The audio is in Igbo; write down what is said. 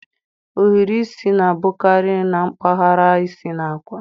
Ohiri isi na-abụkarị na mpaghara isi na akwa.